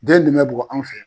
Den bi ne bugo anw fɛ yan